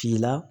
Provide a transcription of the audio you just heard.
Finna